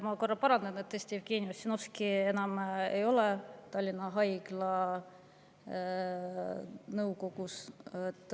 Ma korra parandan: tõesti, Jevgeni Ossinovski ei ole enam Tallinna Haigla nõukogus.